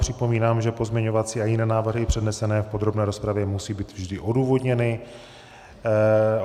Připomínám, že pozměňovací a jiné návrhy přednesené v podrobné rozpravě musí být vždy odůvodněny.